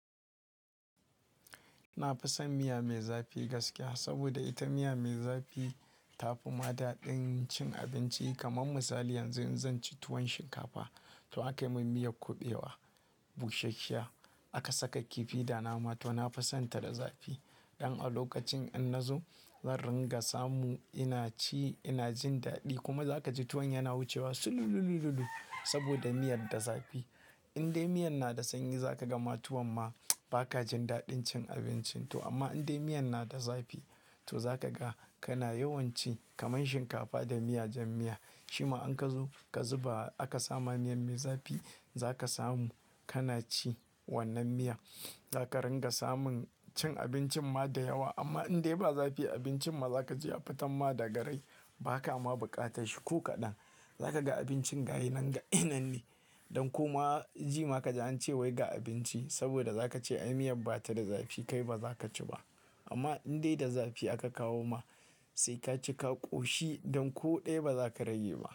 Na fi son miya mai zafi gaskiya, saboda ita miya mai zafi ta fi ma daɗin cin abinci. Kaman misali yanzu in zan ci tuwon shinkafa to akayi mun miyar kuɓewa, bushashsha aka saka kifi da nama to na fi son ta da zafi. Don a lokacin in na zo zan ringa samu ina ci ina jin daɗi kuma za ka ji tuwon yana wucewa sululululu saboda miyar da zafi. Indai miyan na da sanyi za ka ga ma tuwan ma ba ka jin daɗin cin abincin to amma indai miyan na da zafi to za ka ga kana yawan ci. Kaman shinkafa da miya jan miya, shima in ka zo ka zuba aka samu miyan mai zafi, za ka samu kana ci wannan miya. Za ka ringa samun cin abincin ma da yawa, amma indai ba zafi abincin ma za ka ji ya fitan ma da garai, ba ka ma buƙata shi ko kaɗan. Za ka ga abincin ga yinan ga yinan de. Don koma zema ka ji an ce wai ga abinci, saboda za ka ce ai miyar ba ta da zafi kai ba za ka ci ba. Amma indai da zafi aka kawo ma sai ka ci ka ƙoshi don ko ɗaya ba za ka rage ma.